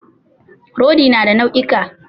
Rodi na da nau'ika.